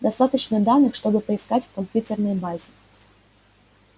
достаточно данных чтобы поискать в компьютерной базе